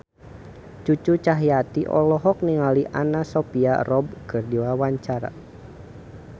Cucu Cahyati olohok ningali Anna Sophia Robb keur diwawancara